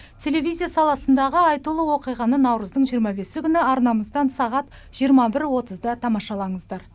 телевизия саласындағы айтулы оқиғаны наурыздың жиырма бесі күні арнамыздан сағат жиырма бір отызда тамашалаңыздар